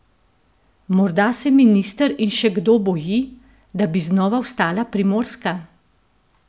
Morda se minister in še kdo boji, da bi znova vstala Primorska?